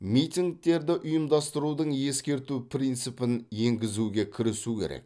митингтерді ұйымдастырудың ескерту принципін енгізуге кірісу керек